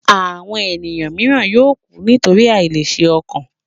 Àwọn ènìyàn mìíràn yóò kù nítorí àìlèṣe ọkàn.